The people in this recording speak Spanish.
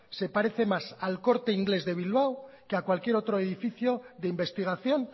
se parece más a el corte inglés de bilbao que a cualquier otro edificio de investigación